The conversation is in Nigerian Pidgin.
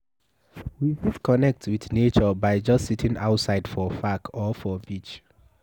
We fit connect with nature by just sitting outside for park or for beach